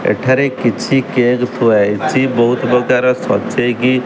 ଏଠାରେ କିଛି କେକେ ଥୁଆ ହେଇଚି ବହୁତ ପ୍ରକାର ସଜେଇକି --